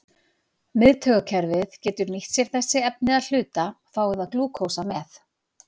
Miðtaugakerfið getur nýtt sér sér þessi efni að hluta, fái það glúkósa með.